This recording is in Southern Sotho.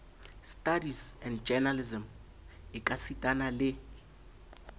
studies and journalism ekasitana le